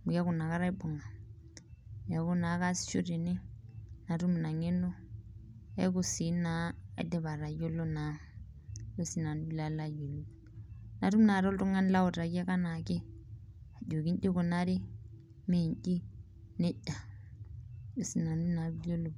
amu keeku inakata aibunga ,amu keeku naa kaasisho tene natum ina ngeno keeku sii aidipa atayiolo naa. natum naaji oltungani lautaki anaake ajoki inji eikunari mee inji nejia ajo naa sii nanu oee iyiolou.